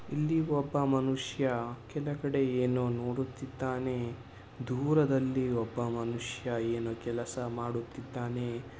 ಇಲ್ಲಿ ಒಬ್ಬ ಮನುಷ್ಯ ಕೆಳಗಡೆ ಏನೋ ನೋಡುತ್ತಿದ್ದಾನೆ. ದೂರದಲ್ಲಿ ಒಬ್ಬ ಮನುಷ್ಯ ಏನೋ ಕೆಲಸ ಮಾಡುತ್ತಿದ್ದಾನೆ.